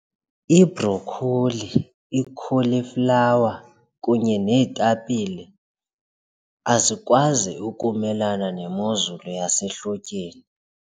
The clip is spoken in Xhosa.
Ibhrokholi, i-cauliflower kunye neetapile azikwazi ukumelana nemozulu yasehlotyeni.